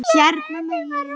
Hérna megin.